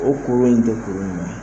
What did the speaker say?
O kolon in tɛ kolon ɲuman ye.